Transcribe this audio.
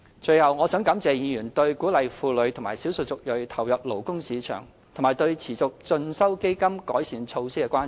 最後，我想感謝議員對鼓勵婦女和少數族裔投入勞工市場及對持續進修基金改善措施的關注。